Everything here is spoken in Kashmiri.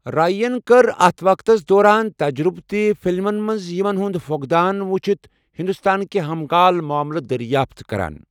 رے یَن کٕرِ اتھ وقتس دوران تجرٗبہٕ تہِ ، فِلمن منز یمن ہٗند فٗقدان وٗچھِتھ، ہندوستانٕكہِ ہم كال معاملہٕ دریافت كران ۔